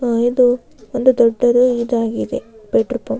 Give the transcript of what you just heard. ಆಹ್ಹ್ ಇದು ಒಂದು ದೊಡ್ಡದು ಇದಾಗಿದೆ ಪೆಟ್ರೋ ಪಂಪ್ --